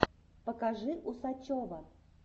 покажи усачева